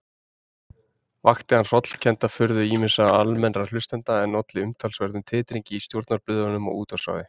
Vakti hann hrollkennda furðu ýmissa almennra hlustenda, en olli umtalsverðum titringi í stjórnarblöðunum og útvarpsráði.